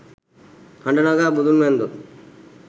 හඬ නගා බුදුන් වැන්දොත්